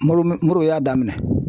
Marono morobo y'a daminɛ